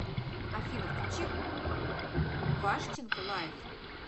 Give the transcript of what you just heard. афина включи вашченко лайф